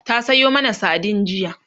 ta Sayo mana sardine jiya